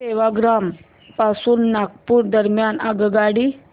सेवाग्राम पासून नागपूर दरम्यान आगगाडी